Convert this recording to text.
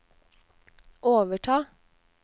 overta